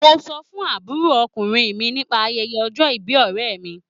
Mo sọ fún àbúròkùnrin mi nípa ayẹyẹ ọjọ́ ìbí ọ̀rẹ́ mi.